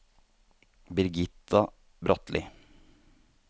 Birgitta Bratlie